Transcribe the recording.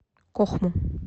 кохму